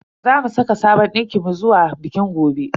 Zamu saka sabon dinkin mu zuwa bikin gobe.